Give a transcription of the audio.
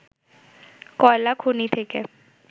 কয়লা খনি থেকে